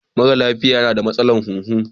Mara lafiya yana da matsalar huhu.